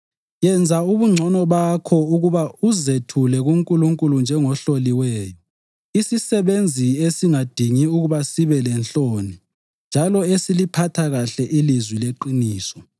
Yenza ubungcono bakho ukuba uzethule kuNkulunkulu njengohloliweyo, isisebenzi esingadingi ukuba sibe lenhloni njalo esiliphatha kuhle ilizwi leqiniso.